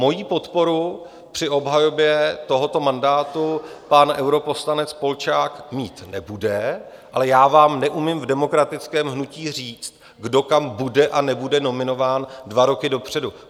Moji podporu při obhajobě tohoto mandátu pan europoslanec Polčák mít nebude, ale já vám neumím v demokratickém hnutí říct, kdo kam bude a nebude nominován, dva roky dopředu.